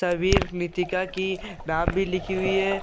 तबीर नितिका की नाम भी लिखी हुई है ।